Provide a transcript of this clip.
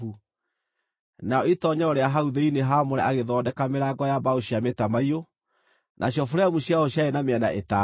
Narĩo itoonyero rĩa hau thĩinĩ haamũre agĩthondeka mĩrango ya mbaũ cia mĩtamaiyũ, nacio buremu ciayo ciarĩ na mĩena ĩtano.